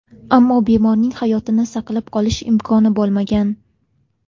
Ammo bemorning hayotini saqlab qolish imkoni bo‘lmagan.